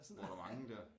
Bor der mange dér